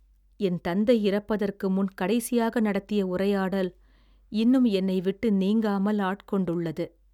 என் தந்தை இறப்பதற்கு முன் கடைசியாக நடத்திய உரையாடல் இன்னும் என்னை விட்டு நீங்காமல் ஆட்கொண்டுள்ளது